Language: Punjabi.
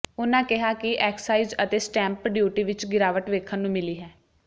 ਉਹਨਾਂ ਕਿਹਾ ਕਿ ਐਕਸਾਈਜ਼ ਅਤੇ ਸਟੈਂਪ ਡਿਊਟੀ ਵਿਚ ਗਿਰਾਵਟ ਵੇਖਣ ਨੂੰ ਮਿਲੀ ਹੈ